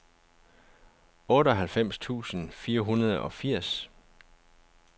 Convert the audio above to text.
otteoghalvfems tusind fire hundrede og firs